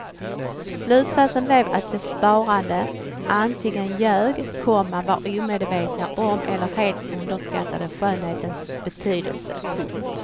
Slutsatsen blev att de svarande antingen ljög, komma var omedvetna om eller helt underskattade skönhetens betydelse. punkt